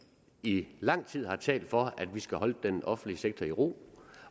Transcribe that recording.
i lang tid har talt for at vi skal holde den offentlige sektor i ro